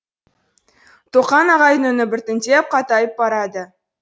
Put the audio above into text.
тоқан ағайдың үні біртіндеп қатайып барады